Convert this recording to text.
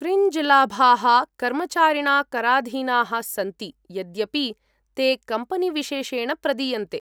Fringe लाभाः कर्मचारिणा कराधीनाः सन्ति, यद्यपि ते कम्पेनीविशेषेण प्रदीयन्ते।